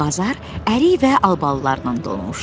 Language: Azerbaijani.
Bazar ərik və albalılarla dolmuşdu.